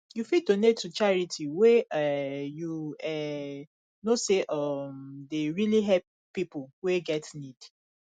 you fit donate to charity wey um you um know sey um dey really help pipo wey get need